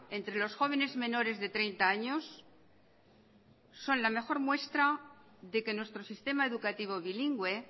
entre los jóvenes menores de treinta años son la mejor muestra de que nuestro sistema educativo bilingüe